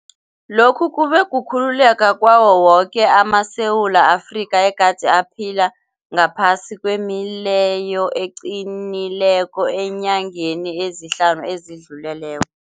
Lokhu kube kukhululeka kwawo woke amaSewula Afrika egade aphila ngaphasi kwemileyo eqinileko eenyangeni ezihlanu ezidlulileko.